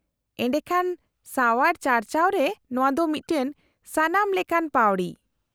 -ᱮᱰᱮᱠᱷᱟᱱ ᱥᱟᱣᱟᱨ ᱪᱟᱨᱪᱟᱣ ᱨᱮ ᱱᱚᱶᱟ ᱫᱚ ᱢᱤᱫᱴᱟᱝ ᱥᱟᱱᱟᱢ ᱞᱮᱠᱟᱱ ᱯᱟᱹᱣᱲᱤ ᱾